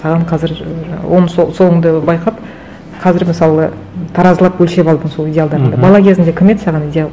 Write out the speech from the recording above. саған қазір соңында байқап қазір мысалы таразылап өлшеп алдың сол идеалдарыңды бала кезіңде кім еді саған идеал